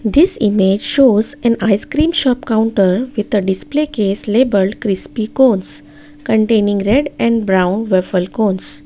this image shows an icecream shop counter with a display case labelled crispy cones containing red and brown waffle cones.